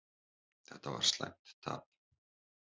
Þetta var slæmt tap.